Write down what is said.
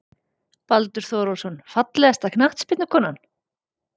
Baldur Þórólfsson Fallegasta knattspyrnukonan?